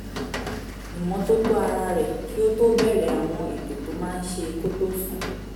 ìmọ́tótó ara rẹ̀ kí ó tó bẹ̀ẹ̀rẹ̀ àwọn ètò tó máa ń ṣe kó tó sùn